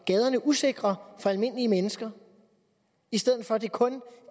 gaderne usikre for almindelige mennesker i stedet for at det kun